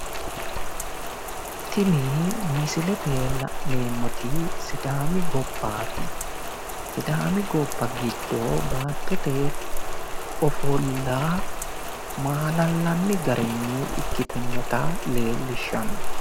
Tini misilete la'neemmoti sidaami gobbaati. Sidaami gobba giddo baattote ofolla maalallanni garinni ikkitinnota leellishshanno.